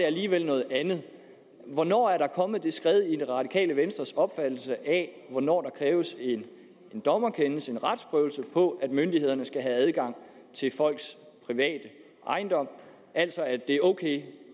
alligevel noget andet hvornår er der kommet det skred i det radikale venstres opfattelse af hvornår der kræves en dommerkendelse en retsprøvelse på at myndighederne skal have adgang til folks private ejendom altså at det er ok